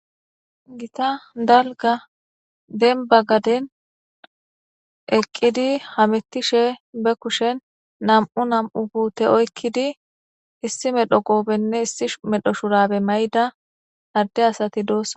gita dalga denba gaden eqqidi hamettishe be kushen nam7u nam7u huute oykkidi issi medho goobenne issi medho shurabe mayda adde asati doossa